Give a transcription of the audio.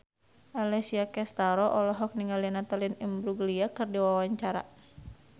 Alessia Cestaro olohok ningali Natalie Imbruglia keur diwawancara